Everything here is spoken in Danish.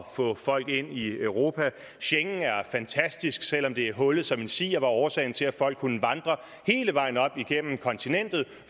få folk ind i europa schengen er fantastisk selv om det er hullet som en si årsagen til at folk kunne vandre hele vejen op igennem kontinentet